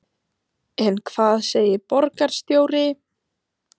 En hvað segir borgarstjóri?